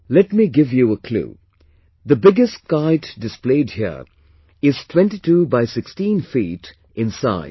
Let me give you a clue, the biggest kite displayed here is 22 by 16 feet in size